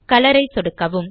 colour ஐ சொடுக்கவும்